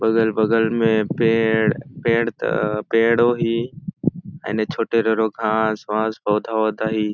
अगल -बगल में पेड़ पेड़ त पेड़ होही एने छोटे घास -वास पौधा वौधा ही।